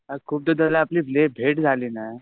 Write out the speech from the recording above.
यार खूप दिवस झाले आपली भेट झाली नाही